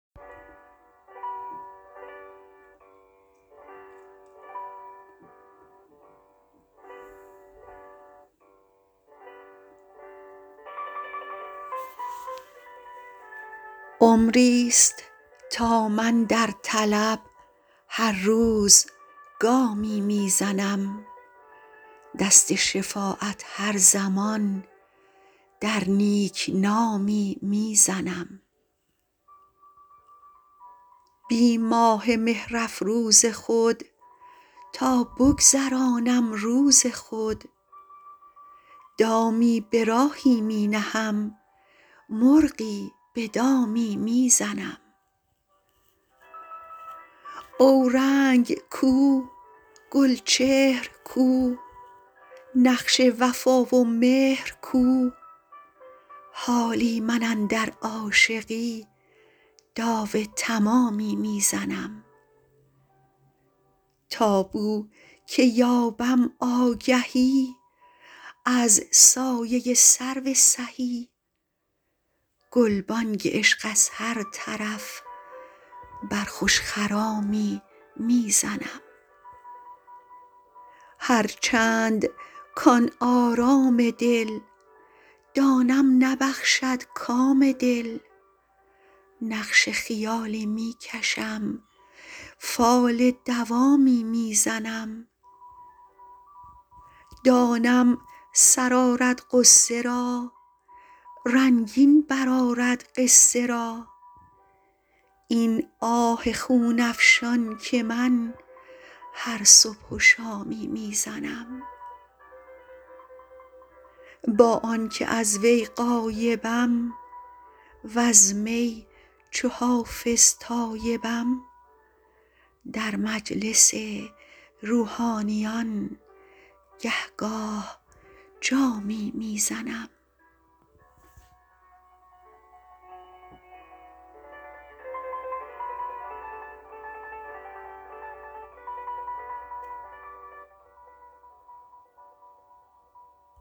عمریست تا من در طلب هر روز گامی می زنم دست شفاعت هر زمان در نیک نامی می زنم بی ماه مهرافروز خود تا بگذرانم روز خود دامی به راهی می نهم مرغی به دامی می زنم اورنگ کو گلچهر کو نقش وفا و مهر کو حالی من اندر عاشقی داو تمامی می زنم تا بو که یابم آگهی از سایه سرو سهی گلبانگ عشق از هر طرف بر خوش خرامی می زنم هرچند کـ آن آرام دل دانم نبخشد کام دل نقش خیالی می کشم فال دوامی می زنم دانم سر آرد غصه را رنگین برآرد قصه را این آه خون افشان که من هر صبح و شامی می زنم با آن که از وی غایبم وز می چو حافظ تایبم در مجلس روحانیان گه گاه جامی می زنم